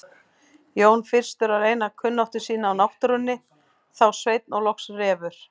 Jón fyrstur að reyna kunnáttu sína á náttúrunni, þá Sveinn og loks Refur.